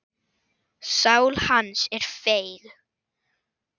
Sál hans er feig.